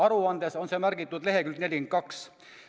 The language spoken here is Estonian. Aruandes on see märgitud leheküljel 42.